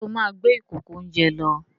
Ṣé ó máa gbé ìkòkò-oúnjẹ lọ?